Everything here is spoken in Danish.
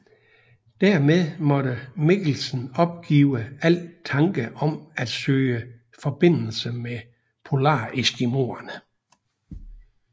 Dermed måtte Mikkelsen opgive al tanke om at søge forbindelse med polareskimoerne